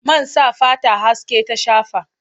Man sa fata haske ta shafa.